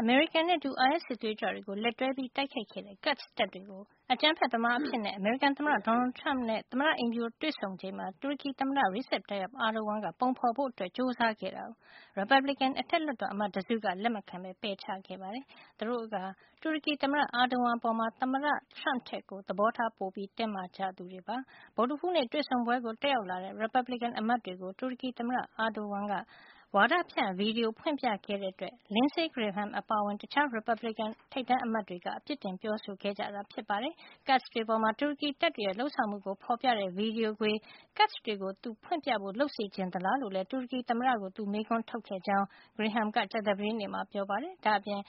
အမေရိကန်နဲ့အတူ အိုင်အက်စ်စစ်သွေးကြွတွေကို လက်တွဲတိုက်ခိုက်ခဲ့တဲ့ Kurds တပ်တွေကို အကြမ်းဖက်သမားတွေ အဖြစ် အမေရိကန်သမ္မတ Donald Trump နဲ့ သမ္မတအိမ်ဖြူတော်မှာ တွေ့ဆုံချိန်မှာ တူရကီသမ္မတ Recep Tayyip Erdogan က ပုံဖေါ်ဖို့ကြိုးစား ခဲ့တာအတွက် ရီပတ်ဘလစ်ကင် အထက်လွှတ်တော်အမတ်တစုက လက်မခံပဲ ပယ်ချခဲ့ပါတယ်။ သူတို့ဟာ တူရကီသမ္မတ Erdogan အပေါ် သမ္မတ Trump ထက် သဘောထား ပိုတင်းမာကြသူတွေပါ။ ဗုဒ္ဓဟူးနေ့ တွေ့ဆုံပွဲကို တက်ရောက်လာတဲ့ ရီပတ်ဘလစ်ကင် အမတ်တွေကို တူရကီသမ္မတ Erdogan က ဝါဒဖြန့်ဗီဒီယို ဖွင့်ပြခဲ့တဲ့အတွက် Lindsey Graham အပါအဝင် တခြား ရီပတ်ဘလစ်ကင်အမတ်တွေက အပြစ်တင်ပြောဆိုခဲ့ကြတာ ဖြစ်ပါတယ်။ Kurds တွေအပေါ် တူရကီတပ်တွေရဲ့ လုပ်ဆောင်မှုကို ဖေါ်ပြတဲ့ ဗီဒီယိုခွေ- Kurds တွေကို သူဖွင့်ပြဖို့ လုပ်စေချင်သလားလို့ တူရကီသမ္မတကို သူမေးခွန်းထုတ်ခဲ့တယ်လို့လည်း Graham က ကြာသပတေးနေ့မှာ ပြောပါတယ်။ ဒါ့အပြင်